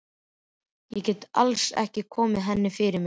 Ég gat alls ekki komið henni fyrir mig.